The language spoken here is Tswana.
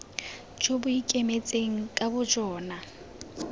jo bo ikemetseng ka bojona